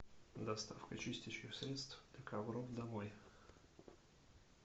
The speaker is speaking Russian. доставка чистящих средств для ковров домой